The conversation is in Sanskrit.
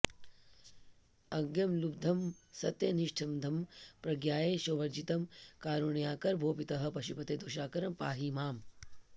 अज्ञं लुब्धमसत्यनिष्ठमधमं प्रज्ञायशोवर्जितं कारुण्याकर भो पितः पशुपते दोषाकरं पाहि माम्